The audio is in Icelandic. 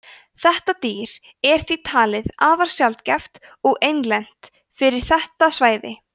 þetta dýr er því talið afar sjaldgæft og einlent fyrir þetta svæði